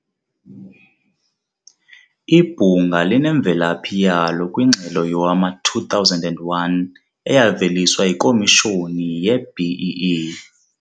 Ibhunga linemvelaphi yalo kwingxelo yowama-2001 eyaveliswa yiKomishoni ye-BEE.